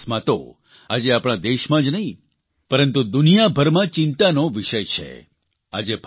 માર્ગ અકસ્માતો આજે આપણા દેશમાં જ નહિં પરંતુ દુનિયાભરમાં ચિંતાનો વિષય છે